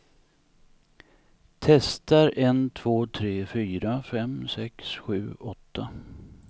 Testar en två tre fyra fem sex sju åtta.